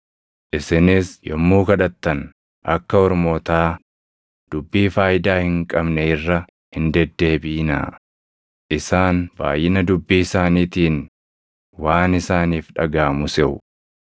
Isinis yommuu kadhattan akka ormootaa dubbii faayidaa hin qabne irra hin deddeebiʼinaa; isaan baayʼina dubbii isaaniitiin waan isaaniif dhagaʼamu seʼu.